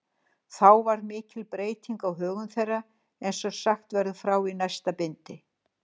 Þá varð mikil breyting á högum þeirra, eins og sagt verður frá í næsta bindi.